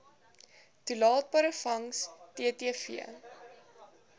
toelaatbare vangs ttv